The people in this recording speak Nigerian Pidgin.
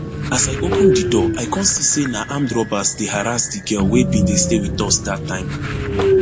as i open di door i kon see say na armed robbers dey harrass di girl wey bin dey stay wit us dat time